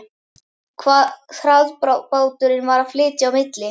Hvað hraðbáturinn var að flytja á milli.